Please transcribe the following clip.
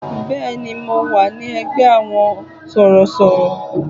Bẹ́ẹ̀ni, mo wà ní ẹgbẹ́ àwọn sọ̀rọ̀sọ̀rọ̀.